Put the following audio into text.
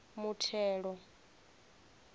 muthelo